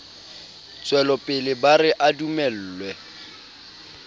tswelopele ba re a dumellwe